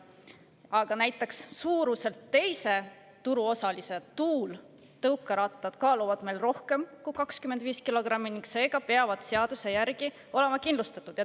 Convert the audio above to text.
Aga näiteks suuruselt teise turuosalise Tuul tõukerattad kaaluvad meil rohkem kui 25 kilogrammi ning seega peavad seaduse järgi olema kindlustatud.